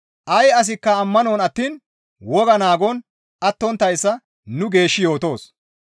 Ay asikka ammanon attiin wogaa naagon attonttayssa nu geeshshi yootoos.